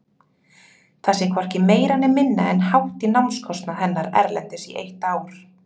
Það sé hvorki meira né minna en hátt í námskostnað hennar erlendis í eitt ár.